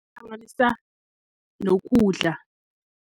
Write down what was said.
nokudla.